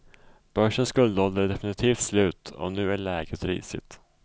Börsens guldålder är definitivt slut och nu är läget risigt.